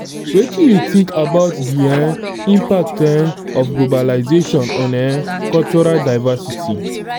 wetin you think about di um impact um of globalization on um cultural divcersity?